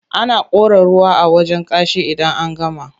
Ana kora ruwa a wajen kashi idan an gama.